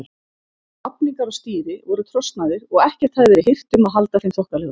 Vafningar á stýri voru trosnaðir og ekkert hafði verið hirt um að halda þeim þokkalegum.